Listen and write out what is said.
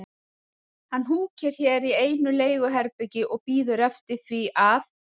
Nei, hann húkir hér í einu leiguherbergi og bíður eftir því að